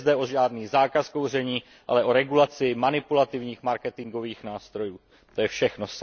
Nejde zde o žádný zákaz kouření, ale o regulaci manipulativních marketingových nástrojů, to je všechno.